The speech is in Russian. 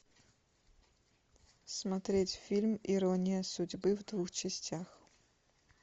смотреть фильм ирония судьбы в двух частях